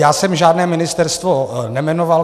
Já jsem žádné ministerstvo nejmenoval.